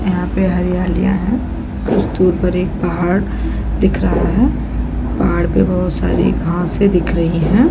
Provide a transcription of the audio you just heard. यहाँ पे हरियालिया है कुछ दूर पर एक पहाड़ दिख रहा है पहाड़ पे बहुत सारी घासे दिख रही हैं |